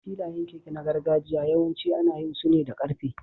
Filayen keke na gargajiya yawanci ana yin su ne da ƙarfe.